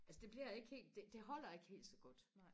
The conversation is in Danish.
altså det bliver ikke helt det det holder ikke helt så godt